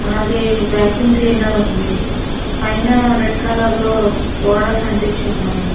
అలాగే vacuum cleaner ఉంది పైన రెడ్ కలర్ లో బోడర్స్ అంటించి ఉన్నాయి.